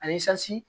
A izansi